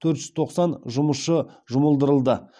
төрт жүз тоқсан жұмысшы жұмылдырылды